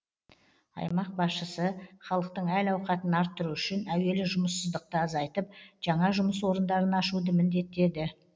аймақ басшысы халықтың әл ауқатын арттыру үшін әуелі жұмыссыздықты азайтып жаңа жұмыс орындарын ашуды міндеттеді